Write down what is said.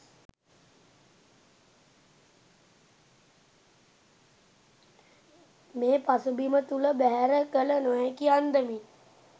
මේ පසුබිම තුළ බැහැර කළ නොහැකි අන්දමින්